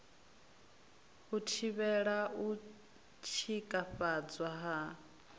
u thivhela u tshikafhadzwa ha